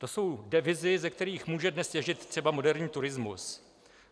To jsou devizy, ze kterých může dnes těžit třeba moderní turismus.